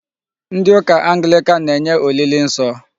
Ndị ụka Anglican na-enye olili nsọ.